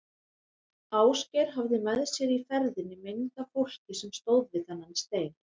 Ásgeir hafði með sér í ferðinni mynd af fólki sem stóð við þennan stein.